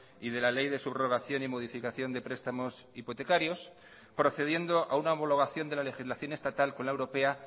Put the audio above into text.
y de la ley de subrogación y modificación de prestamos hipotecarios procediendo a una homologación de la legislación estatal con la europea